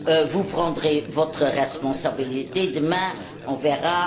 Vous prendrez votre responsabilité, demain, on verra.